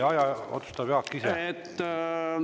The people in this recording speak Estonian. Aja otsustab Jaak ise.